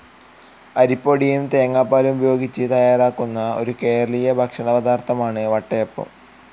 അരിപൊടിയും തേങ്ങാപ്പാലും ഉപയോഗിച്ച് തയ്യാറാക്കുന്ന, ഒരു കേരളീയ ഭക്ഷണപദാർത്ഥമാണ് വട്ടയപ്പം.